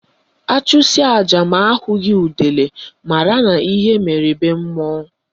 Achụsịa aja ma ahụghị udele mara na ihe mere be mmụọ